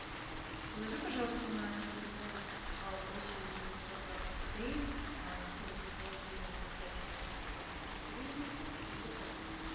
положи пожалуйста на телефон восемь девятьсот двадцать три тридцать восемь двадцать пять четыреста двадцать три семьсот рублей